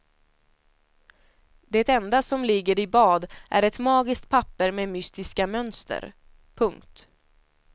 Det enda som ligger i bad är ett magiskt papper med mystiska mönster. punkt